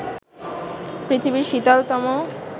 পৃথিবীর শীতলতম